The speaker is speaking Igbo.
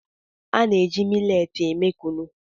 A na-eji miletị eme Kunu.